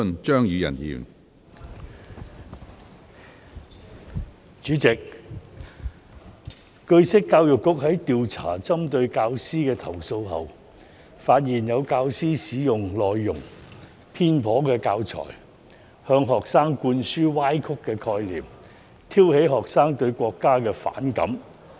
主席，據悉，教育局在調查針對教師的投訴後，發現有教師使用內容偏頗的教材，向學生灌輸歪曲的概念，挑起學生對國家的反感。